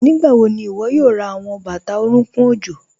Nígbàwọ̀ ní iwó̩ yóò rá àwọn bátà orùnkùn ọ̀jọ̀?